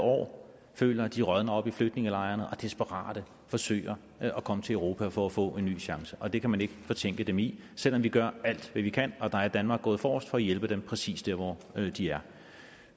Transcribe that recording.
år føler at de rådner op i flygtningelejrene og desperat forsøger at komme til europa for at få en ny chance og det kan man ikke fortænke dem i selv om vi gør alt hvad vi kan og der er danmark gået forrest for at hjælpe dem præcis der hvor de er